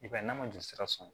I b'a ye n'a ma jolisira sɔrɔ